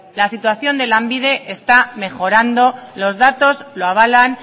la situación de lanbide está mejorando los datos lo avalan